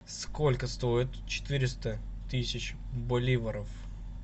сколько стоит четыреста тысяч боливаров